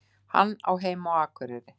Hann á heima á Akureyri.